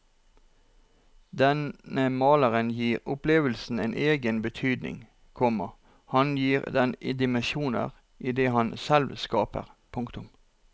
Denne maleren gir opplevelsen en egen betydning, komma han gir den dimensjoner i det han selv skaper. punktum